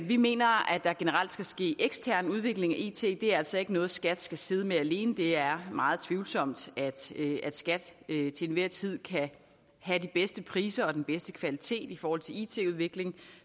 vi mener at der generelt skal ske ekstern udvikling af it det er altså ikke noget skat skal sidde med alene det er meget tvivlsomt at skat til enhver tid kan have de bedste priser og den bedste kvalitet i forhold til it udvikling